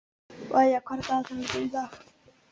Maía, hvað er á dagatalinu mínu í dag?